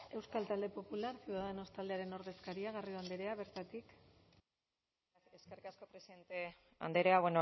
euskal talde popularra ciudadanos taldearen ordezkaria garrido andrea bertatik eskerrik asko presidente andrea